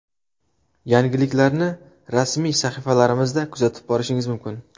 Yangiliklarni rasmiy sahifalarimizda kuzatib borishingiz mumkin.